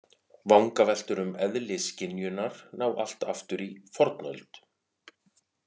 Vangaveltur um eðli skynjunar ná allt aftur í fornöld.